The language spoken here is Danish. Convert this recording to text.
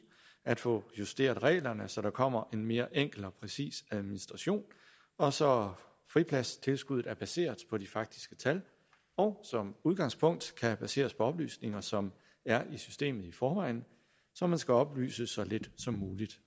at få justeret reglerne så der kommer en mere enkel og præcis administration og så fripladstilskuddet er baseret på de faktiske tal og som udgangspunkt kan baseres på oplysninger som er i systemet i forvejen så man skal oplyses så lidt som muligt